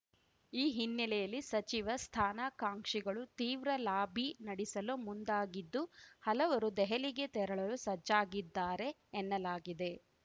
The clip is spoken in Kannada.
ಈ ಹಿನ್ನೆಲೆಯಲ್ಲಿ ಸಚಿವ ಸ್ಥಾನಾಕಾಂಕ್ಷಿಗಳು ತೀವ್ರ ಲಾಬಿ ನಡಿಸಲು ಮುಂದಾಗಿದ್ದು ಹಲವರು ದೆಹಲಿಗೆ ತೆರಳಲು ಸಜ್ಜಾಗಿದ್ದಾರೆ ಎನ್ನಲಾಗಿದೆ